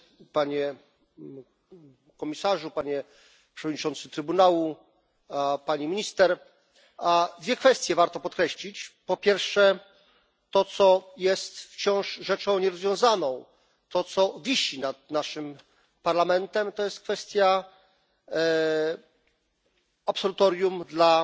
Panie Komisarzu! Panie Przewodniczący Trybunału! Pani Minister! Dwie kwestie warto podkreślić. Po pierwsze, to, co jest wciąż rzeczą nierozwiązaną, to, co wisi nad naszym Parlamentem, to jest kwestia absolutorium